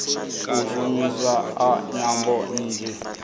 u shumiswa ha nyambo nnzhi